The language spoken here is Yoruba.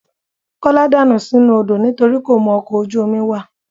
Kọ́lá dànù sínú odó nitorí kò mọkọ̀ ojú omi wà